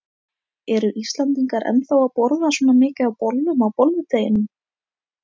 Eru Íslendingar ennþá að borða svona mikið af bollum á bolludeginum?